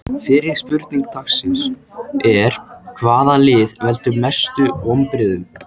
Fyrri spurning dagsins er: Hvaða lið veldur mestu vonbrigðum?